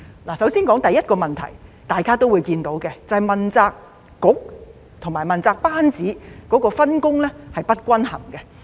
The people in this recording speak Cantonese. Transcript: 我首先說第一個問題，大家都會看到，便是問責局和問責班子的分工是不均衡的。